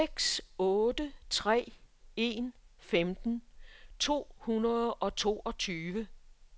seks otte tre en femten to hundrede og toogtyve